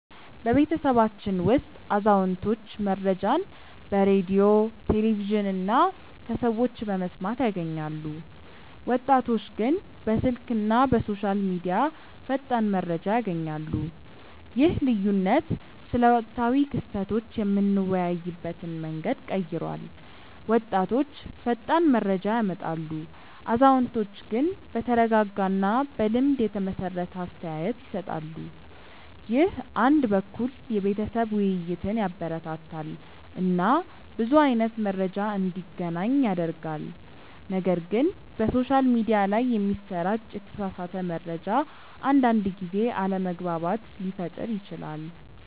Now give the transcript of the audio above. በቤተሰባችን ውስጥ አዛውንቶች መረጃን በሬዲዮ፣ ቴሌቪዥን እና ከሰዎች በመስማት ያገኛሉ፣ ወጣቶች ግን በስልክ እና በሶሻል ሚዲያ ፈጣን መረጃ ያገኛሉ። ይህ ልዩነት ስለ ወቅታዊ ክስተቶች የምንወያይበትን መንገድ ቀይሯል፤ ወጣቶች ፈጣን መረጃ ያመጣሉ፣ አዛውንቶች ግን በተረጋጋ እና በልምድ የተመሰረተ አስተያየት ይሰጣሉ። ይህ አንድ በኩል የቤተሰብ ውይይትን ያበረታታል እና ብዙ አይነት መረጃ እንዲገናኝ ያደርጋል፣ ነገር ግን በሶሻል ሚዲያ ላይ የሚሰራጭ የተሳሳተ መረጃ አንዳንድ ጊዜ አለመግባባት ሊፈጥር ይችላል